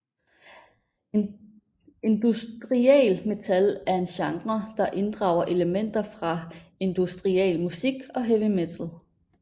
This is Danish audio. Industrial metal er en genre der inddrager elementer fra industrial musik og heavy metal